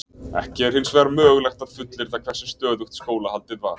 Ekki er hins vegar mögulegt að fullyrða hversu stöðugt skólahaldið var.